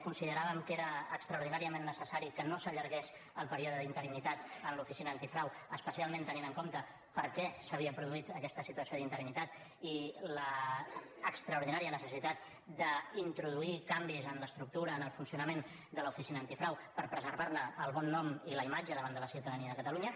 consideràvem que era extraordinàriament necessari que no s’allargués el període d’interinitat en l’oficina antifrau especialment tenint en compte per què s’havia produït aquesta situació d’interinitat i l’extraordinària necessitat d’introduir canvis en l’estructura en el funcionament de l’oficina antifrau per preservar ne el bon nom i la imatge davant de la ciutadania de catalunya